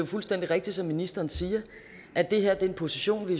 fuldstændig rigtigt som ministeren siger at det her er en position vi